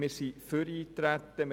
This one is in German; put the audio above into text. Wir sind für das Eintreten.